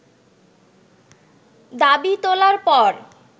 দাবি তোলার পর